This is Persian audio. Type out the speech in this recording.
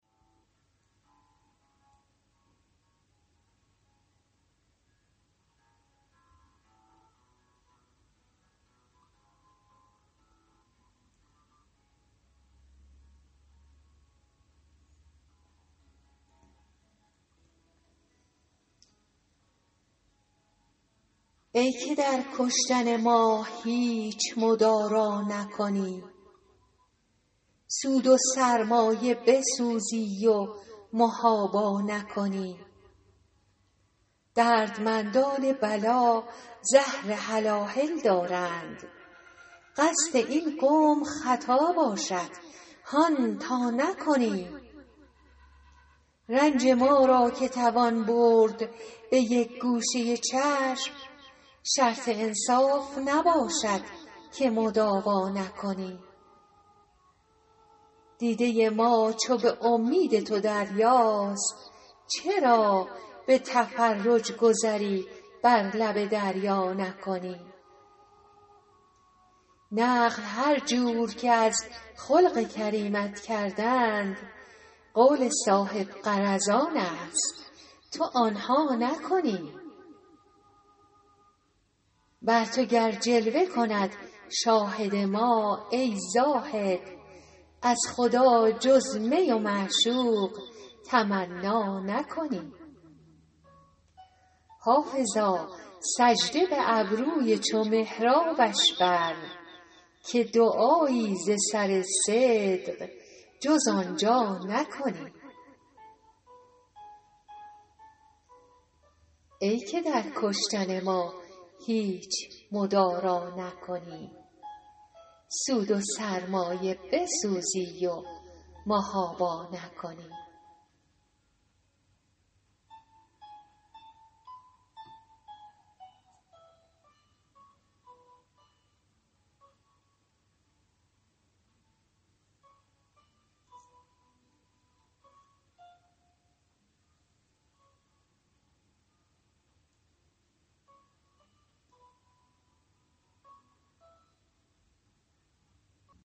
ای که در کشتن ما هیچ مدارا نکنی سود و سرمایه بسوزی و محابا نکنی دردمندان بلا زهر هلاهل دارند قصد این قوم خطا باشد هان تا نکنی رنج ما را که توان برد به یک گوشه چشم شرط انصاف نباشد که مداوا نکنی دیده ما چو به امید تو دریاست چرا به تفرج گذری بر لب دریا نکنی نقل هر جور که از خلق کریمت کردند قول صاحب غرضان است تو آن ها نکنی بر تو گر جلوه کند شاهد ما ای زاهد از خدا جز می و معشوق تمنا نکنی حافظا سجده به ابروی چو محرابش بر که دعایی ز سر صدق جز آن جا نکنی